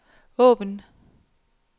åbn